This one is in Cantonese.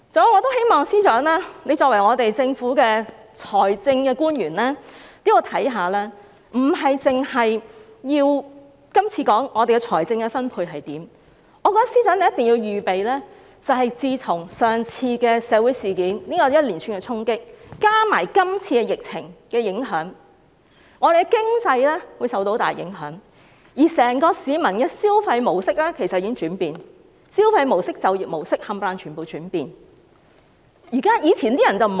還有，作為政府的財政官員，我希望司長考慮的不單是今次的財政分配，我認為司長一定要預備，因為自從上次社會事件造成的連串衝擊，加上今次疫情的影響，本港的經濟會受到很大影響，而市民的整個消費模式其實也在轉變，無論是消費模式或就業模式，全部也在轉變。